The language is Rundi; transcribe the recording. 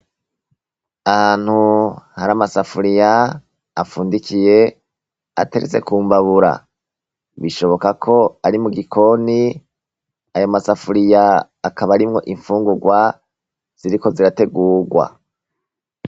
Ahantu hari amasafuriya apfundikiye, ateretse kumbabura. Bishoboka ko ari mugikoni, ayo masafuriya akaba arimwo imfungurwa ziriko zirategurwa.